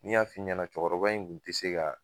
Ni n y'a fɔ i ɲɛna cɛkɔrɔba in kun ti se ka.